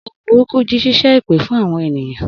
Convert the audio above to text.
Ohun burúkú jí ṣíṣẹ́ èpè fún àwọn ènìyàn.